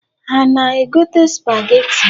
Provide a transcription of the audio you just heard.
Ha ana-egote supageti?